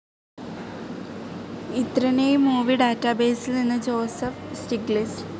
ഇത്രനേയ് movie ഡാറ്റാബേസിൽ നിന്നു Joseph Stiglitz